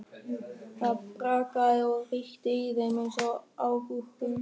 Það brakaði og hrikti í þeim eins og agúrkum.